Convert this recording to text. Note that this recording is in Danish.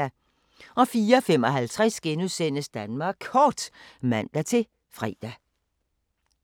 04:55: Danmark Kort *(man-fre)